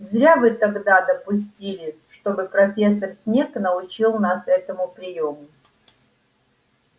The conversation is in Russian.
зря вы тогда допустили чтобы профессор снегг научил нас этому приёму